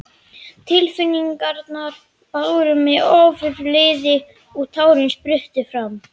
Tilfinningarnar báru mig ofurliði og tárin spruttu fram.